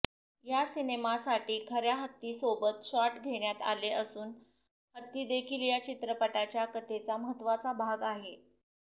या सिनेमासाठी खऱ्या हत्तींसोबत शॉट घेण्यात आले असून हत्तीदेखील या चित्रपटाच्या कथेचा महत्त्वाचा भाग आहेत